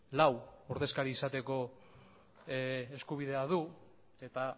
lau ordezkari izateko eskubidea du eta